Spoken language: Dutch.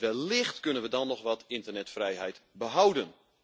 Wellicht kunnen we dan nog wat internetvrijheid behouden.